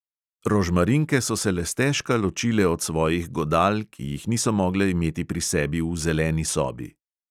Rožmarinke so se le stežka ločile od svojih godal, ki jih niso mogle imeti pri sebi v zeleni sobi.